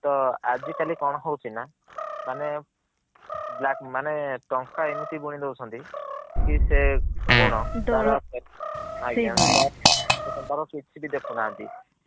ତ ଆଜି କାଲି କଣ ହଉଛି ନା ମାନେ black ମାନେ ଟଙ୍କା ଏମିତି ବୁଣୀ ଦୌଛନ୍ତି କି ସେ ଗୁଣ ଦଳ। ଆଜ୍ଞା ସେଇ ଭଳିଆ। ଦେଖୁ ନାହାନ୍ତି।